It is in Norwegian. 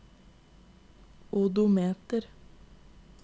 odometer